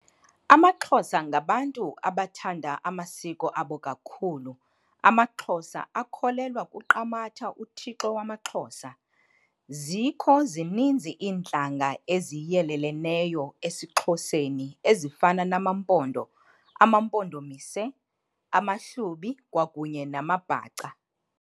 AmaXhosa ngabantu abathanda amasiko abo kakhulu. Amaxhosa akholelwa kuQamatha uThixo wamaXhosa. Zikho zininzi iintlanga eziyeleleneyo esiXhoseni ezifana namaMpondo, amaMpondomise, amaHlubi kwakunye namaBhaca.